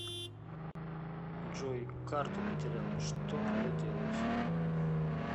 джой карту потерял что надо делать